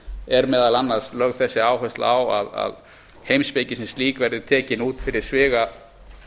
er meðal annars lögð þessi áhersla á að heimspekin sem slík verði tekin út fyrir sviga